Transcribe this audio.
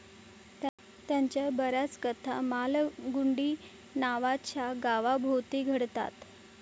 त्यांच्या बऱ्याच कथा मालगुडी नावाच्या गावाभोवती घडतात.